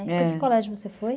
Para que colégio você foi?